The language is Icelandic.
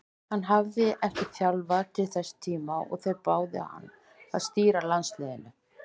Hann hafði ekki þjálfað til þess tíma og þeir báðu hann að stýra landsliðinu.